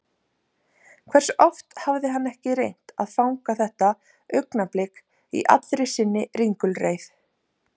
Hversu oft hafði hann ekki reynt að fanga þetta augnablik í allri sinni ringulreið?